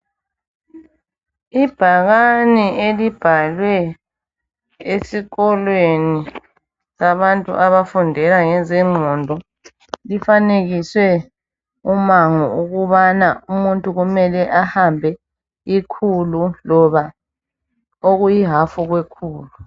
Ibhakane elibhalwe esikolweni sabantu abafundela ngezengqondo lifanekiswe umango ukubana umuntu kumele ehambe ikhulu loba okuyihafu kwekhulu